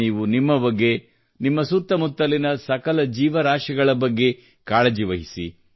ನೀವು ನಿಮ್ಮ ಬಗ್ಗೆ ನಿಮ್ಮ ಸುತ್ತಮುತ್ತಲಿನ ಸಕಲ ಜೀವರಾಶಿಗಳ ಬಗ್ಗೆ ಕಾಳಜಿ ವಹಿಸಿ